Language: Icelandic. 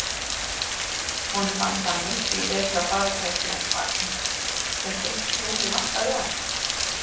Honum fannst hann miklu betra farartæki en vagninn, sem eitt hjólið vantaði á.